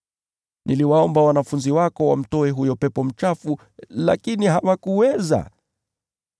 Niliwaomba wanafunzi wako wamtoe huyo pepo mchafu, lakini hawakuweza.”